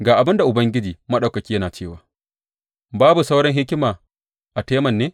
Ga abin da Ubangiji Maɗaukaki yana cewa, Babu sauran hikima a Teman ne?